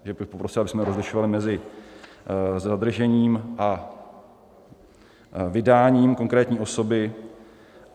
Takže bych poprosil, abychom rozlišovali mezi zadržením a vydáním konkrétní osoby.